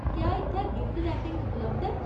क्या इत्थै gift wrapping उपलब्ध ऐ ?